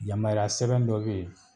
Yamariya sɛbɛn dɔ be yen